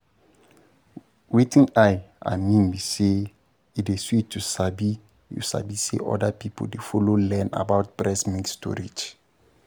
wetin i i mean be say e dey sweet to sabi you sabi say other people dey follow learn about breast milk storage